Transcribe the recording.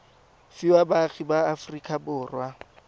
fiwa baagi ba aforika borwa